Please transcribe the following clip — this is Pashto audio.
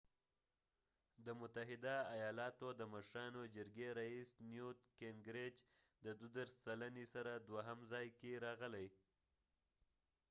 د متحده ایالاتو د مشرانو جرګې رییس نیوت ګینګریچ د 32 سلنې سره دوهم ځای کې راغلی